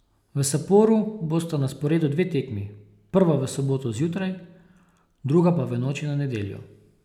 V Saporu bosta na sporedu dve tekmi, prva v soboto zjutraj, druga pa v noči na nedeljo.